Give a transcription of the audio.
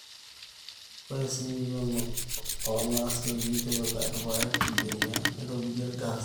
ore simui o naasioki tipika ilpaek ilbenia loitobirieki ilgaaasi